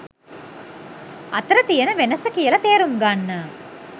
අතර තියෙන වෙනස කියල තේරුම් ගන්න